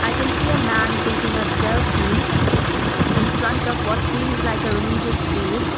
i can see a man taking a selfie infront of what seems like a religious place.